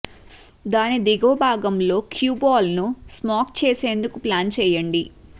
దాని దిగువ భాగంలో క్యూ బాల్ ను స్మాక్ చేసేందుకు ప్లాన్ చేయండి